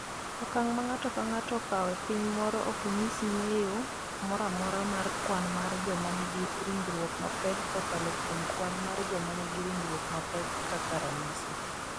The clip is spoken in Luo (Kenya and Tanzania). Okang’ ma ng’ato ka ng’ato okawo e piny moro ok nyis ng’eyo moro amora mar kwan mar joma nigi ringruok mapek kokalo kuom kwan mar joma nigi ringruok mapek kaka ranyisi.